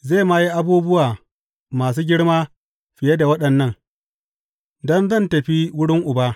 Zai ma yi abubuwa masu girma fiye da waɗannan, don zan tafi wurin Uba.